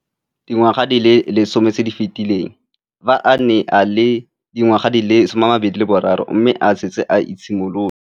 Dingwaga di le 10 tse di fetileng, fa a ne a le dingwaga di le 23 mme a setse a itshimoletse.